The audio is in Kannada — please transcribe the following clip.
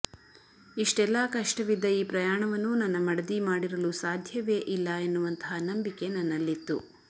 ಇಷ್ಟೆಲ್ಲಾ ಕಷ್ಟವಿದ್ದ ಈ ಪ್ರಯಾಣವನ್ನು ನನ್ನ ಮಡದಿ ಮಾಡಿರಲು ಸಾಧ್ಯವೆ ಇಲ್ಲ ಎನ್ನುವಂತಹ ನಂಬಿಕೆ ನನ್ನಲ್ಲಿತ್ತು